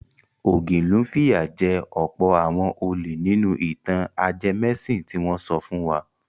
Ògilún fìyà jẹ ọ̀pọ̀ àwọn olè nínú ìtàn ajẹmẹ́sìn tí wọ́n sọ fún wa.